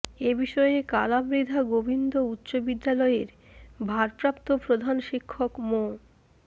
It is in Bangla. এ বিষয়ে কালামৃধা গোবিন্দ উচ্চ বিদ্যালয়ের ভারপ্রাপ্ত প্রধান শিক্ষক মো